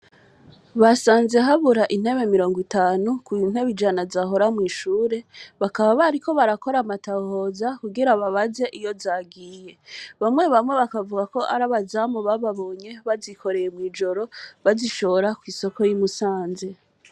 Basanze habura intebe mirongo itanu ku ntebe ijana zahora mw'ishure, bakaba bariko barakora amatohoza kugira babaze iyo zagiye, bamwe bamwe bakavuga ko ari abazamu bababonye bazikoreye mw'ijoro bazishora kw'isoko y'i Musanze.